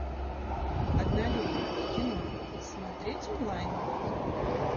однолюбы кино смотреть онлайн